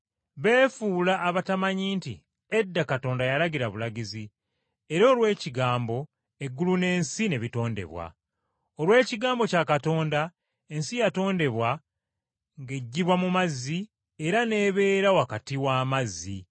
Beefuula abatamanyi nti edda Katonda yalagira bulagizi, era olw’ekigambo eggulu n’ensi ne bitondebwa. Olw’ekigambo kya Katonda ensi yatondebwa ng’eggyibwa mu mazzi era n’ebeera wakati w’amazzi.